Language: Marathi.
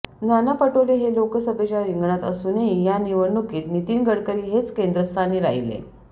नाना पटोले हे लोकसभेच्या रिंगणात असूनही या निवडणुकीत नितिन गडकरी हेच केंद्रस्थानी राहिले